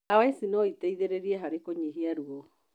Ndawa ici noiteithĩrĩrie harĩ kũnyihia ruo